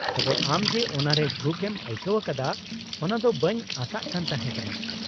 -ᱛᱚᱵᱮ ᱟᱢ ᱡᱮ ᱚᱱᱟᱨᱮ ᱡᱷᱩᱸᱠ ᱮᱢ ᱟᱹᱭᱠᱟᱹᱣ ᱟᱠᱟᱫᱟ ᱚᱱᱟ ᱫᱚ ᱵᱟᱹᱧ ᱟᱥᱟᱜ ᱠᱟᱱ ᱛᱟᱦᱮᱸ ᱠᱟᱱᱟ ᱾